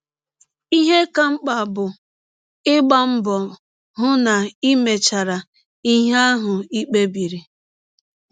Ihe ka mkpa bụ ịgba mbọ hụ na i mechara ihe ahụ i kpebiri.